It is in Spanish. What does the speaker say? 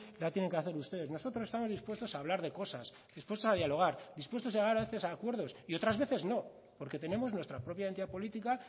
la tienen que hacer ustedes nosotros estamos dispuestos a hablar de cosas dispuestos a dialogar dispuestos a llegar a veces a acuerdos y otras veces no porque tenemos nuestra propia identidad política